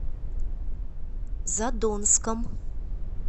задонском